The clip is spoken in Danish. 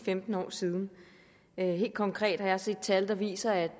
femten år siden helt konkret har jeg set tal der viser at